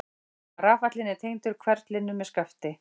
Rafallinn er tengdur hverflinum með skafti.